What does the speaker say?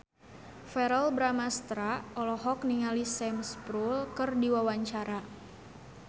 Verrell Bramastra olohok ningali Sam Spruell keur diwawancara